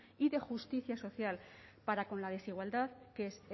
y de justicia social para la con la desigualdad que es